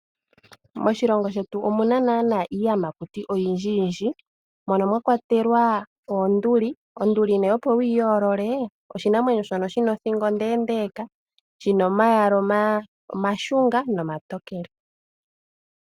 Moshilongo shetu omuna naanaa iiyamakuti oyindji yindji. Mono mwa kwatelwa oonduli. Onduli opo wuyi yoolole oshinamwenyo shono shina othingo ondeendeeka. Shina omayala omashunga nomatokele.